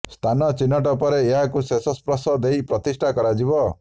ସ୍ଥାନ ଚିହ୍ନଟ ପରେ ଏହାକୁ ଶେଷ ସ୍ପର୍ଶ ଦେଇ ପ୍ରତିଷ୍ଠା କରାଯିବ